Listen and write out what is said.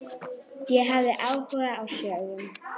Ég hafði áhuga á sögu